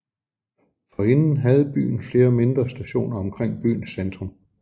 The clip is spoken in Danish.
Forinden havde byen flere mindre stationer omkring byens centrum